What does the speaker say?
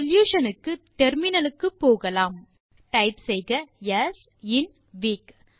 solution க்கு terminal க்கு போகலாம் டைப் செய்க ஸ் இன் வீக்